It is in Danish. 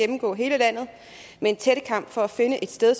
gennemgå hele landet med en tættekam for at finde et sted